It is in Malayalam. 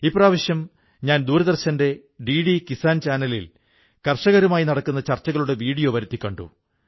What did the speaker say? ഇപ്രാവശ്യം ഞാൻ ദൂരദർശന്റെ ഡിഡി കിസ്സാൻ ചാനലിൽ കർഷകരുമായി നടക്കുന്ന ചർച്ചകളുടെ വീഡിയോ വരുത്തി കണ്ടു